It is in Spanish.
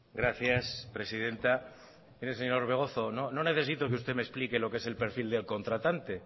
gracias presidenta mire señor orbegozo no necesito que usted me explique lo que es el perfil del contratante